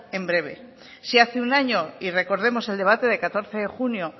en breve si hace un año y recordemos el debate de catorce de junio